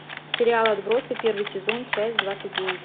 сериал отбросы первый сезон часть двадцать девять